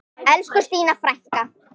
Elsku Stína frænka.